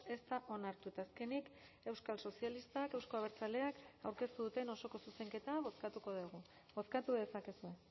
ez da onartu eta azkenik euskal sozialistak euzko abertzaleak aurkeztu duten osoko zuzenketa bozkatuko dugu bozkatu dezakezue